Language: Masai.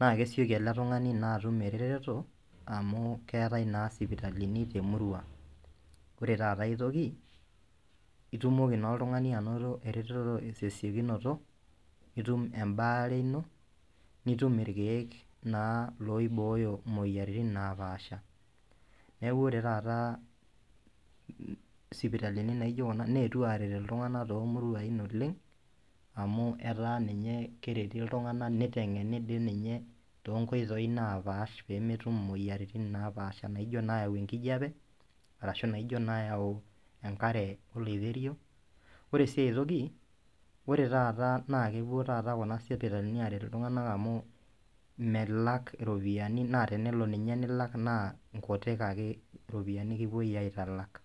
naa kesieki ele tungani atum eretoto amu keetae naa isipitalini temurua. Wore taata aitoki, itumoki naa oltungani ainoto eretoto tesiokunoto, nitum embaare ino, nitum irkiek naa loibooyo imoyiaritin naapaasha. Neeku wore taata isipitalini naijo kuna neetuo aaret iltunganak toomuruain oleng', amu etaa ninye kereti iltunganak, nitengeni dii ninye toonkoitoi naapaash peemetum imoyiaritin naapaasha naijo naayau enkijape, arashu naijo naayau enkare oloiterio. Wore si aitoki, wore taata naa kepuo taata kuna sipitalini aaret iltunganak amu milak iropiyani naa tenelo ninye nilak naa inkutik ake ropiyiani kipoi aitalak.